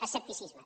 escepticisme